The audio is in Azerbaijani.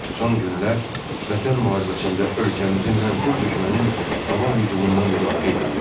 Son günlər Vətən müharibəsində ölkəmizi mənfur düşmənin hava hücumundan müdafiə eləyirdi.